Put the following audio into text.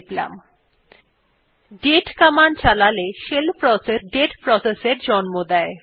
দাতে command চালালে shell process একটি date process এর জন্ম দেয়